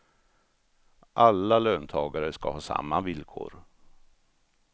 Alla löntagare ska ha samma villkor.